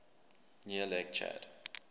near lake chad